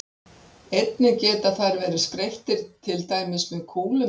Einnig geta þær verið skreyttar til dæmis með kúlum eða gleri.